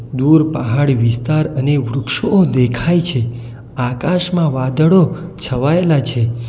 દૂર પહાડી વિસ્તાર અને વૃક્ષો દેખાય છે આકાશમાં વાદળો છવાયેલા છે.